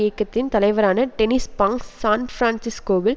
இயக்கத்தின் தலைவரான Dennis Banks சான்பிரான்சிஸ்கோவில்